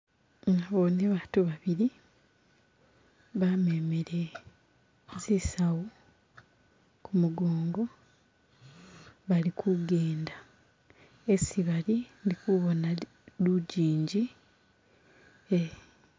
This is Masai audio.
Nabone batu babili bamemele zisawu kumugongo bali kugenda hesi bali ndikubona lugingi